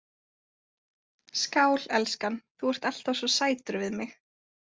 Skál, elskan, þú ert alltaf svo sætur við mig